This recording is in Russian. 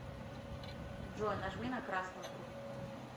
джой нажми на красную трубку